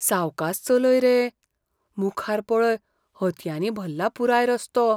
सावकास चलय रे. मुखार पळय हतयांनी भल्ला पुराय रस्तो.